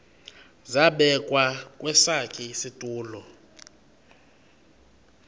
zabekwa kwesakhe isitulo